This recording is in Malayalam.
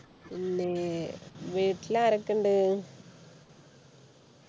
പിന്നെ വീട്ടിലാരൊക്ക ഉണ്ട്